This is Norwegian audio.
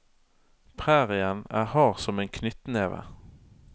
Prærien er hard som en knyttneve.